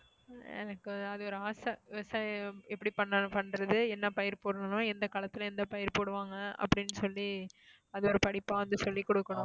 எனக்கு அது ஒரு ஆசை விவசாயம் எப்படி பண்றது என்னபயிர் போடணும் எந்த களத்துல எந்த பயிர் போடுவாங்க அப்படின்னு சொல்லி அதை ஒரு படிப்பா வந்து சொல்லிக் கொடுக்கணும்.